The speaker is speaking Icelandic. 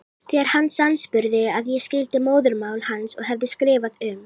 Þegar hann sannspurði að ég skildi móðurmál hans og hefði skrifað um